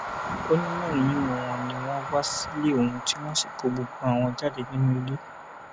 ó ní mẹrin nínú wọn ni wọn wá sílé òun tí wọn sì kó gbogbo àwọn jáde nínú ilé